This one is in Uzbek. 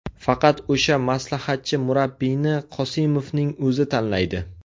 Faqat o‘sha maslahatchi murabbiyni Qosimovning o‘zi tanlaydi.